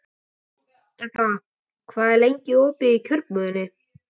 Dedda, hvað er lengi opið í Kjörbúðinni?